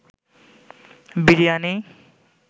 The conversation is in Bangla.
বিরিয়ানি